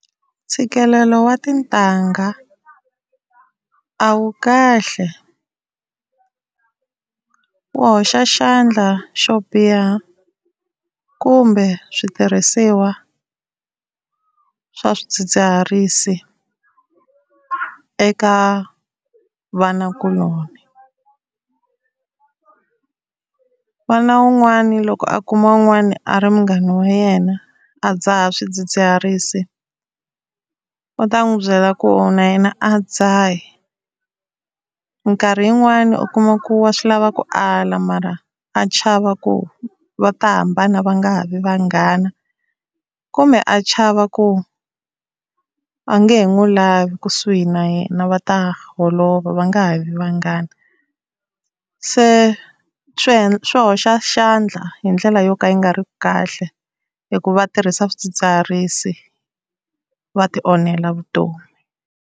Ntshikelelo wa tintangha a wu kahle wu hoxa xandla xo biha kumbe switirhisiwa swa swidzidziharisi eka vana kuloni. N'wana un'wani loko a kuma wun'wani a ri munghana wa yena a dzaha swidzidziharisi u ta n'wi byela ku na yena a dzahi. Minkarhi yin'wani u kuma ku wa swi lava ku ala mara a chava ku va ta hambana va nga ha vi vanghana kumbe a chava ku a nge he n'wi lavi kusuhi na yena va ta holova, va nga ha vi vanghana. Se swi hoxa xandla hi ndlela yo ka yi nga riki kahle hi ku va tirhisa swidzidziharisi va ti onhela vutomi.